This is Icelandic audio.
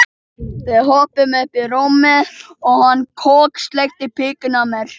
Grindvíkingur sestur í götuna og hafði höfuð manns í kjöltunni.